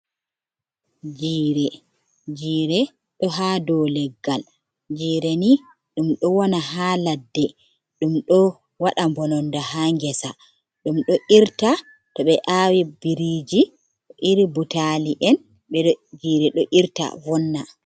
Jire: jire do ha dou leggal. Jire ni dum do wona ha ladde. Dum do wada bononda ha ngesa. Dum do irta to be awi biriji, iri butali'en, jire do irta vonna.